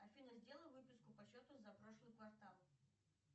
афина сделай выписку по счету за прошлый квартал